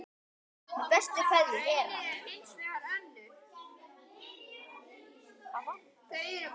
Með bestu kveðju Hera.